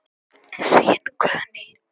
Þín Guðný.